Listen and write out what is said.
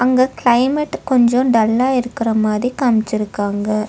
இந்த கிளைமேட் கொஞ்சோ டல்லா இருக்கிற மாரி காம்மிச்சிருக்காங்க.